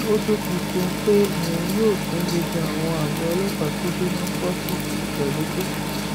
ó tún fi kún un pé òun yóò tún gbogbo àwọn àgọ ọlọpàá tó jóná kó sì ti ìgbàlódé